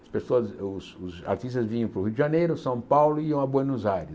As pessoas os os artistas vinham para o Rio de Janeiro, São Paulo e iam a Buenos Aires.